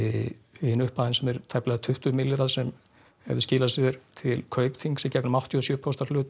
hin upphæðin sem er tæplega tuttugu milljarðar hefði skilað sér til Kaupþings í gegnum áttatíu og sjö prósenta hlut